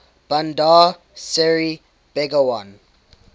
bandar seri begawan